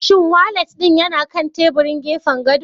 Shin walat ɗin yana kan teburin gefen gado?